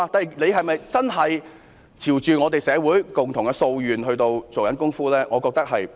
政府是否真的朝着社會共同的訴願來做工夫呢？